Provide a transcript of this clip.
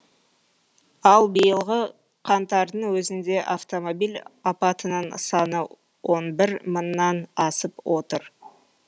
ал биылғы қаңтардың өзінде автомобиль апатының саны он бір мыңнан асып отыр